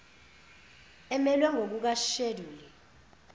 emelwe ngokuka sheduli